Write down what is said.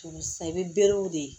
Sisan i bɛ berew de